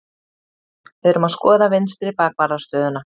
Við erum að skoða vinstri bakvarðar stöðuna.